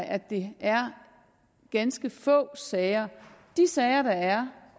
at det er ganske få sager de sager der